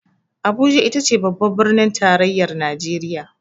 Abuja itace babbar birnin tarayyar najeriya.